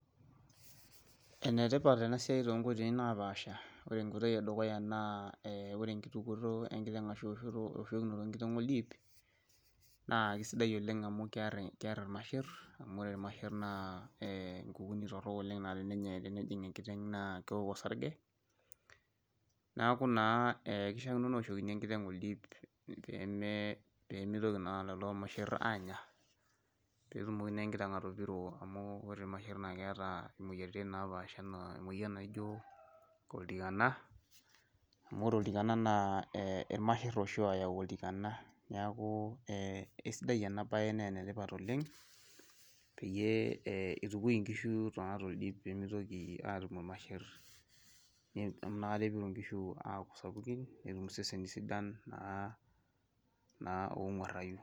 enetipat enasiai too inkoitoi naa pasha ore enkoitoi eduya naa ore enkitukoto enkiteng ashu ewoshokinoto oldip, amu keer imasher amu ore imasher naa inkuni naa tenejing enkiteng naa kewok olsarge, neeku kishaa kino newoshi enkiteng oldip pee mitoki ilmasher aanya, atum imoyiaritin naijio oltikana amu ilmasher oshi oyau, naa enetipat oleng pee eutukui inkishu amu inaka etum iseseni onguarayu.